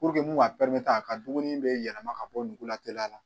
Puruke mu b'a pɛrimete a ka dumuni be yɛlɛma ka bɔ nugula teliya la